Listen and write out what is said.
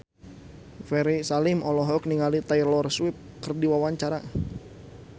Ferry Salim olohok ningali Taylor Swift keur diwawancara